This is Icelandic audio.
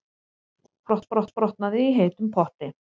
Handleggsbrotnaði í heitum potti